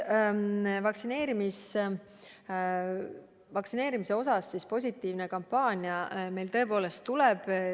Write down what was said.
Vaktsineerimise osas positiivne kampaania meil tõepoolest tuleb.